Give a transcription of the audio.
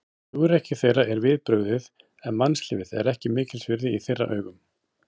Hugrekki þeirra er við brugðið, en mannslífið er ekki mikils virði í þeirra augum.